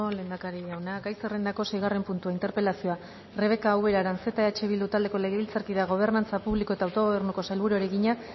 lehendakari jauna gai zerrendako seigarren puntua interpelazioa rebeka ubera aranzeta eh bildu taldeko legebiltzarkideak gobernantza publiko eta autogobernuko sailburuari egina